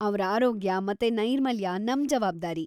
ಅವ್ರ ಆರೋಗ್ಯ ಮತ್ತೆ ನೈರ್ಮಲ್ಯ ನಮ್‌ ಜವಾಬ್ದಾರಿ.